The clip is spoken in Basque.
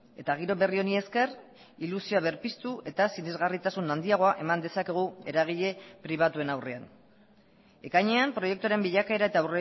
eta giro berri honi esker ilusioa berpiztu eta sinesgarritasun handiagoa eman dezakegu eragile pribatuen aurrean ekainean proiektuaren bilakaera eta